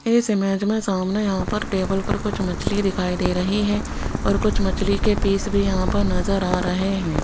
इस इमेज में सामने यहां पर टेबल पर कुछ मछली दिखाई दे रही है और कुछ मछली के पीस भी यहां पर नजर आ रहे हैं।